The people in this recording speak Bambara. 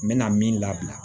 N mɛna min labila